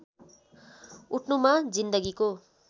उठ्नुमा जिन्दगीको